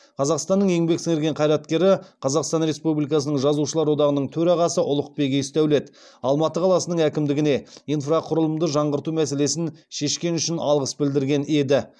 қазақстанның еңбек сіңірген қайраткері қазақстан республикасының жазушылар одағының төрағасы ұлықбек есдәулет алматы қаласының әкімдігіне инфрақұрылымды жаңғырту мәселесін шешкені үшін алғыс білдірген еді